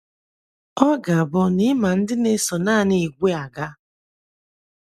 Ọ ga-abụ na ị ma "ndị na-eso naanị ìgwè aga".